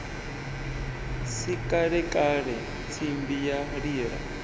si kalekale tsimbi ya lila